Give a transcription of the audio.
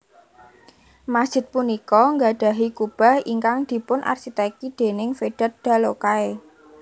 Masjid punika gadhahi kubah ingkang dipunarsiteki déning Vedat Dalokay